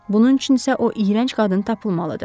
Bunun üçün isə o iyrənc qadın tapılmalıdır.